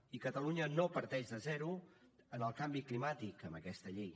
i catalunya no parteix de zero en el canvi climàtic amb aquesta llei